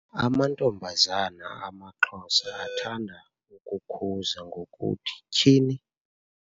Amantombazana amaXhosa athanda ukukhuza ngokuthi-Tyhini!